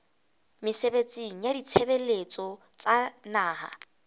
mesebetsing ya ditshebeletso tsa naha